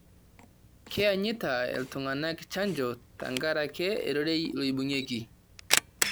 keenyita iltung'anak chanjo tenkaraki irorei lorbungei